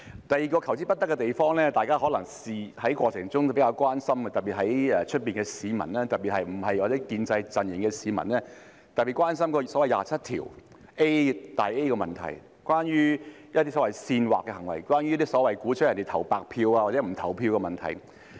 第二個求之不得的地方，大家可能在過程中也比較關心，特別是外面的市民，尤其是非建制陣營的市民，大家非常關注第 27A 條的問題，是關於一些所謂煽惑的行為，關於所謂鼓吹他人投白票或不投票的問題。